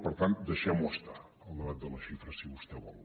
per tant deixem lo estar el debat de les xifres si vostè vol